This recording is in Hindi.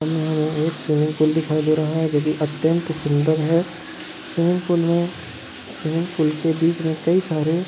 हमे यहाँ एक स्विमिंग पूल दिखाई दे रहा है जोकि अत्यंत सुन्दर है स्विमिंग पूल में स्विमिंग पूल के बीचमे कई सारे --